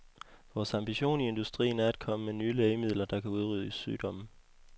Vores ambition i industrien er at komme med nye lægemidler, der kan udrydde sygdomme.